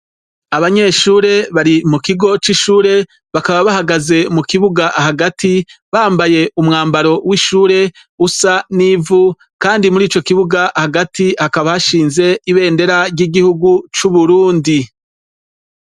Abanyeshure bari mu kigo c'ishure, bakaba bahagazer mu kibuga hagati, bambaye umwambaro w'ishure usa n'ivu kandi muri ico kibuga hagati hakaba hashinze ibendera ry'igihugu c'Uburundi.